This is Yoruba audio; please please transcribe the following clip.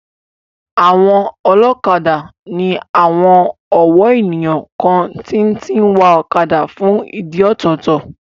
Àwọn ọlọ́kadà ní àwon ọ̀wọ́ ènìyàn kan tí tí ń wa ọ̀kadà fún ìdí ọ̀tọ̀ọ̀tọ̀